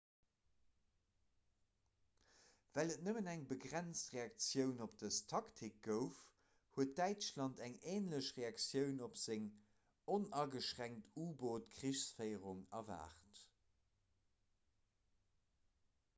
well et nëmmen eng begrenzt reaktioun op dës taktik gouf huet däitschland eng änlech reaktioun op seng onageschränkt u-boot-krichsféierung erwaart